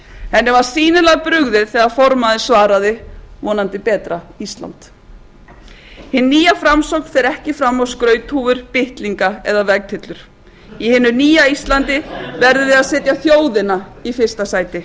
henni var sýnilega brugðið þegar formaðurinn svaraði vonandi betra ísland hin nýja framsókn fer ekki fram á skrauthúfur bitlinga eða vegtyllur í hinu nýja íslandi verðum við að setja þjóðina í fyrsta sæti